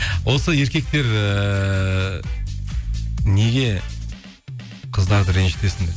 осы еркектер ііі неге қыздарды ренжітесіңдер